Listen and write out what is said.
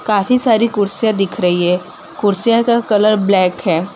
काफी सारी कुर्सियां दिख रही है कुर्सियों का कलर ब्लैक है।